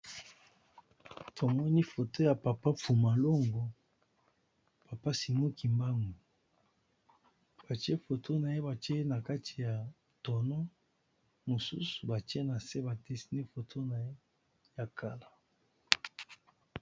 Tomoni foto ya papa fumalongo papa Simon Kimbangu batie foto na ye batie na kati ya toneaux mosusu batie na se ba disney foto na ye ya kala.